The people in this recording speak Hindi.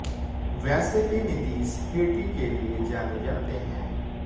वैसे भी नीतीश हेठी के लिए जाने जाते हैं